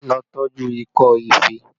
Lọ tọju ikọ́ ife!